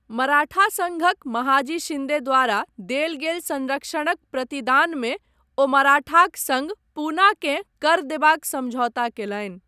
मराठा संघक महाजी शिन्दे द्वारा देल गेल संरक्षणक प्रतिदानमे ओ मराठाक सङ्ग पूनाकेँ कर देबाक समझौता कयलनि।